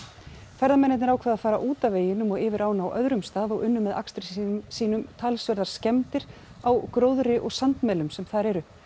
ferðamennirnir ákváðu að fara út af veginum og yfir ána á öðrum stað og unnu með akstri sínum talsverðar skemmdir á gróðri og sandmelum sem þar eru